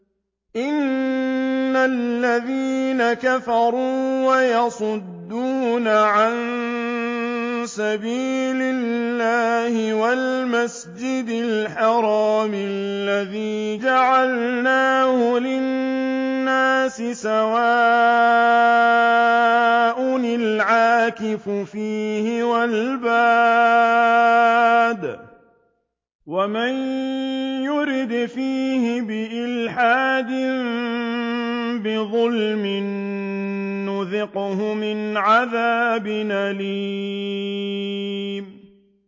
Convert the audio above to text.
إِنَّ الَّذِينَ كَفَرُوا وَيَصُدُّونَ عَن سَبِيلِ اللَّهِ وَالْمَسْجِدِ الْحَرَامِ الَّذِي جَعَلْنَاهُ لِلنَّاسِ سَوَاءً الْعَاكِفُ فِيهِ وَالْبَادِ ۚ وَمَن يُرِدْ فِيهِ بِإِلْحَادٍ بِظُلْمٍ نُّذِقْهُ مِنْ عَذَابٍ أَلِيمٍ